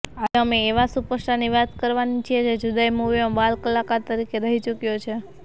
આજે અમે એવા સુપરસ્ટારની વાત કરવાના છીએ જે જુદાઇ મૂવીમાં બાલકલાકાર તરીકે રહી ચૂક્યો છે